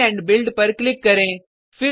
clean and build पर click करें